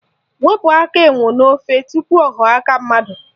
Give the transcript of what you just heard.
Wepu aka enwe n'ofe tupu ọ ghọọ aka mmadụ!